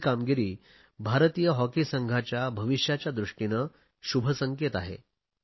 ही कामगिरी भारतीय हॉकी संघाच्या भविष्याच्या दृष्टीने शुभसंकेत आहे